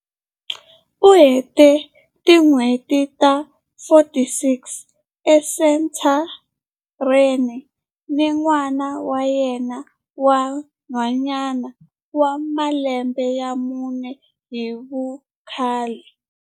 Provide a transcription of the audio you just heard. U hete tin'hweti ta 46 esenthareni ni n'wana wa yena wa nhwanyana wa malembe ya mune hi vukhale.